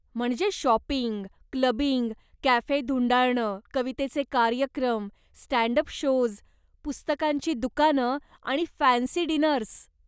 म्हणजे shopping, clubbing, cafe धुंडाळणं, कवितेचे कार्यक्रम, स्टँड अप शोज्, पुस्तकांची दुकानं आणि फॅन्सी डीनर्स.